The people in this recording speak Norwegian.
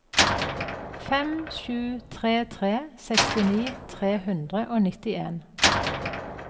fem sju tre tre sekstini tre hundre og nittien